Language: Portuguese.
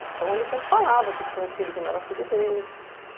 Então ele sempre falava que tinha um filho que não era filho dele.